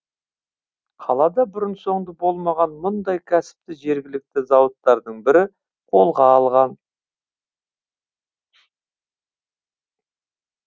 қалада бұрын соңды болмаған мұндай кәсіпті жергілікті зауыттардың бірі қолға алған